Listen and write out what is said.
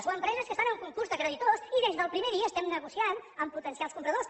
o empreses que estan en concurs de creditors i des del primer dia estem negociant amb potencials compradors